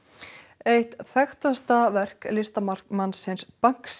eitt þekktasta verk listamannsins